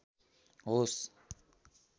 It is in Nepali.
होस्